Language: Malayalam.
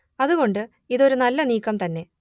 അത് കൊണ്ട് ഇതൊരു നല്ല നീക്കം തന്നെ